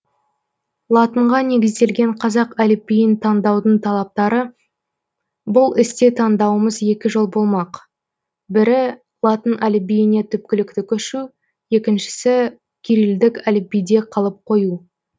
латынға негізделген қазақ әліпбиін таңдаудың талаптары бұл істе таңдаумыз екі жол болмақ бірі латын әліпбиіне түпкілікті көшу екіншісі кирилдік әліпбиде қалып қою